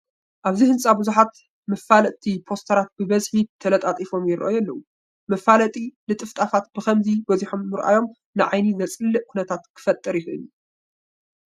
ኣብዚ ህንፃ ብዙሓት መፋለጥቲ ፖስተራት ብብዝሒ ተለጣጢፎም ይርአዩ ኣለዉ፡፡ መፋለጢ ልጥፍጣፋት ብኸምዚ በዚሖም ምርኣዮም ንዓይኒ ዘፅልእ ኩነታት ክፈጥር ይኽእል እዩ፡፡